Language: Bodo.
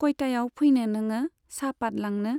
कयतायाव फैनो नोङो साहपात लांनो?